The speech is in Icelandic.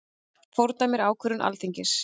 Fordæmir ákvörðun Alþingis